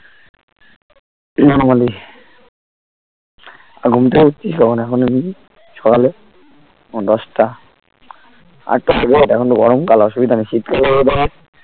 Normally আর ঘুম থেকে উঠছিস কখন এখন সকালে দশটা আটটার আগে ওঠ এখন তো গরম কাল অসুবিধা নেই শীতকালে weather